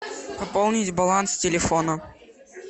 пополнить баланс телефона